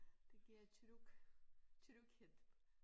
Det giver tryg tryghed